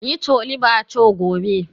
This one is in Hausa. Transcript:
Yi Chole Bhature gobe.